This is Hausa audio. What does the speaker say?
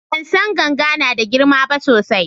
bansan ganga nada girma ba sosai